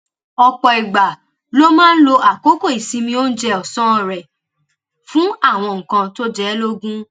ọ̀pọ̀ ìgbà ló máa ń lo àkókò ìsinmi oúnjẹ ọ̀sán rẹ̀ fún àwọn nǹkan tó jẹ ẹ́ lógún